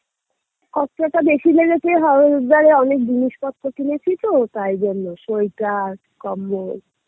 কত্তটা বেশি লেগেছে হাও~ হরিদ্বারে অনেক জিনিসপত্র কিনেছি তো তাইজন্যে সোয়েটার, কম্বল